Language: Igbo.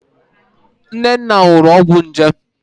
Nnenna ṅụrụ ọgwọ nje.